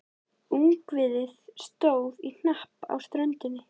Ungviðið stóð í hnapp á ströndinni.